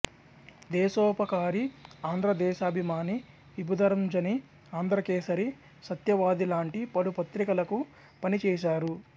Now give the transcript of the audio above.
దేశోపకారి ఆంధ్ర దేశాభిమాని విభుదరంజని ఆంధ్రకేసరి సత్యవాది లాంటి పలు పత్రికలకు పనిచేశారు